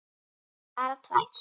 Bara tvær.